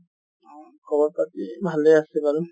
উম, খবৰ খাতি ভালে আছে বাৰু